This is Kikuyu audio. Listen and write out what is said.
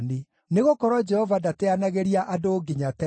Nĩgũkorwo Jehova ndateanagĩria andũ nginya tene.